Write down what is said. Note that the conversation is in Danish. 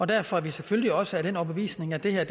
derfor er vi selvfølgelig også af den overbevisning at det her